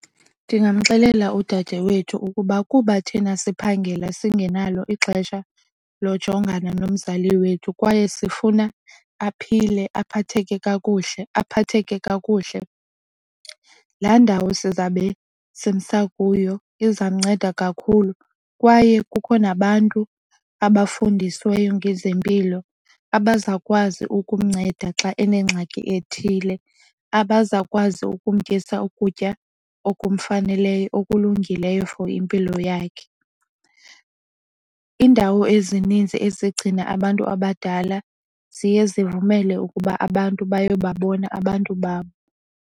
Ndingamxelela udadewethu ukuba kuba thina siphangela singenalo ixesha lojongana nomzali wethu kwaye sifuna aphile aphatheke kakuhle, laa ndawo sizawube simsa kuyo izawumnceda kakhulu. Kwaye kukho nabantu abafundisiweyo ngezempilo abazawukwazi ukumnceda xa enengxaki ethile, Abaza kwazi ukumtyisa ukutya okufaneleyo okulungileyo for impilo yakhe. Iindawo ezininzi ezigcina abantu abadala ziye zivumele ukuba abantu bayobabona abantu babo.